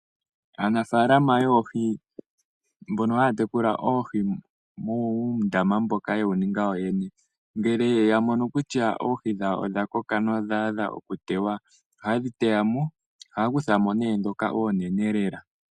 Aanafaalama yoohi mbono haya tekula oohi muundama mboka ye wu ninga yoyene, ngele ya mono kutya oohi dhawo odha koka nodha adha okutewa, ohaye dhi teyamo, ohaya kuthamo ndhoka oonene lela.